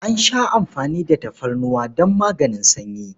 An sha amfani da tafarnuwa don maganin sanyi.